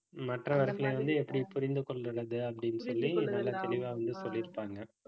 மற்றவர்களை வந்து எப்பிடி புரிந்து கொள்வது அப்பிடின்னு சொல்லி நல்ல தெளிவா வந்து சொல்லிருப்பாங்க